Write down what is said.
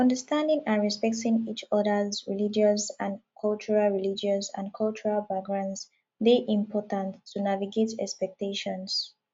understanding and respecting each others religious and cultural religious and cultural backgrounds dey important to navigate expectations